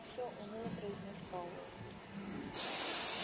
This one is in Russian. все уныло произнёс пауэлл